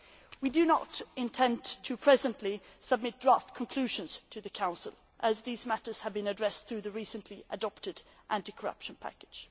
We are presently not intending to submit draft conclusions to the Council, as these matters have been addressed through the recently adopted anti corruption package.